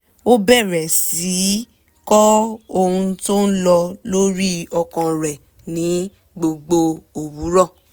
ó bẹ̀rẹ̀ sí í kọ ohun tó ń lọ lórí ọkàn rẹ ní gbogbo òwúrọ̀